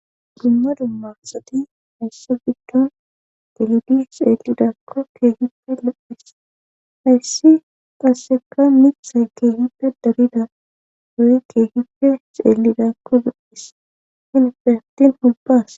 dimma dummasati hayssa biddon delidi xeellidakko keehippe lo7is hayssi qasseka mixxe keehippe darida doyi keehipfe xeellidakko bu7is hin fehatin holbaas